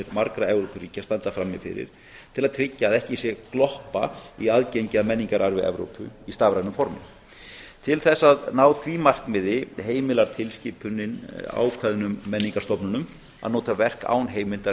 margra evrópuríkja standa frammi fyrir til að tryggja að ekki sé gloppa í aðgengi að menningararfi evrópu í stafrænu formi til þess að ná því markmiði heimilar tilskipunin ákveðnum menningarstofnunum að nota verk án heimildar